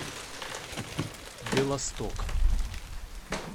белосток